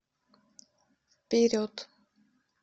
вперед